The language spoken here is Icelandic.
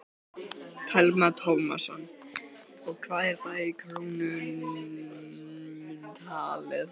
Telma Tómasson: Og hvað er það í krónum talið?